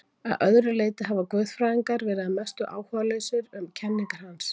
Að öðru leyti hafa guðfræðingar verið að mestu áhugalausir um kenningar hans.